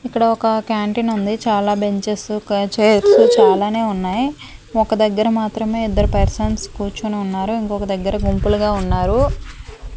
ఇక్కడ ఒక క్యాంటీన్ ఉంది చాలా బెంచెస్ కు చైర్స్ చాలానే ఉన్నాయి ఒక దగ్గర మాత్రమే ఇద్దరు పర్సన్స్ కూర్చుని ఉన్నారు ఇంకొక దగ్గర గుంపులుగా ఉన్నారు.